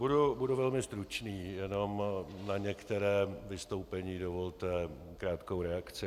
Budu velmi stručný, jen na některá vystoupení dovolte krátkou reakci.